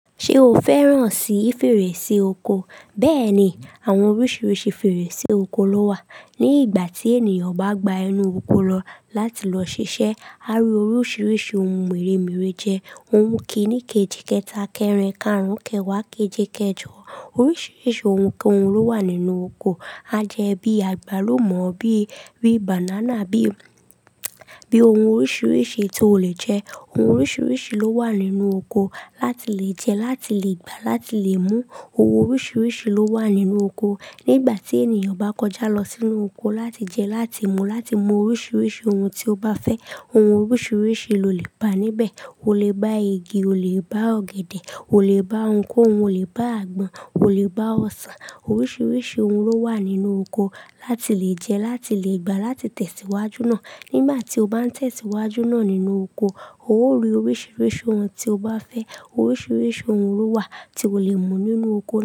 Ṣé o fẹ́ràn sí fèrèsé oko? Bẹ́ẹ̀ni, àwọn oríṣiríṣi fèrèsé oko ló wà. Ni ìgbà tí ènìyàn bá gba ẹnu oko lọ láti lọ ṣiṣẹ́, á rí oríṣiríṣi ohun mèremère jẹ. Ohun kìní keji keta kerin karùn-ún, kẹwàá, keje, kẹjọ. Oríṣiríṣi ohun ko hun ló wà nínú oko. A jẹ bí àgbálùmọ́, bí i banana, bí i ohun oríṣiríṣi to lè jẹ. Ohun oríṣiríṣi ló wà nínú oko láti lè jẹ, láti lè gbà, láti lè mú. Ohun oríṣiríṣi ló wà nínú oko. Ni ìgbà tí ènìyàn bá kọjá lọ sínú oko láti jẹ, láti mú, láti mú oríṣiríṣi ohun tí ó bá fẹ́. Ohun oríṣiríṣi lo lè bá níbẹ̀. O lè bá igi, o lè bá ọ̀gẹ̀dẹ̀, o lè bá ohunkóhun, o lè bá àgbọn, o lè bá ọsàn. Oríṣiríṣi ohun ló wà nínú oko láti lè jẹ, láti lè gbà, láti tẹ̀síwájú náà. Ni ìgbà tí o bá ń tẹ̀síwájú náà nínú oko, o ó rí oríṣiríṣi ohun tí o bá fẹ́. Oríṣiríṣi ohun ló wà tí o lè mú nínú oko.